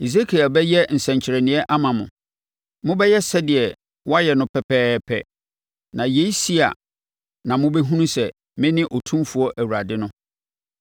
Hesekiel bɛyɛ nsɛnkyerɛnneɛ ama mo. Mobɛyɛ sɛdeɛ woayɛ no pɛpɛɛpɛ. Na yei si a na mobɛhunu sɛ mene Otumfoɔ Awurade no.’